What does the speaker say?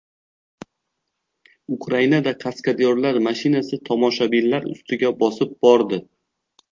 Ukrainada kaskadyorlar mashinasi tomoshabinlar ustiga bosib bordi.